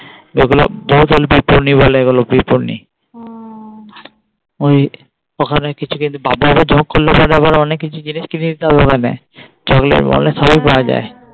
এগুলো বহুতল বিপ্ননি বলে এগুলো বিপন্নি। ওই ওখানে কিছু করলে পরে আবার অনেক কিছু জিনিস কিনে দিতে হবে ওখানে. চকলেট মকলেট সবাই পাওয়া যায়।